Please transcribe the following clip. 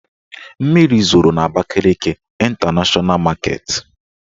Mmiri zoro n' Abakaliki Ịntanashọna maketi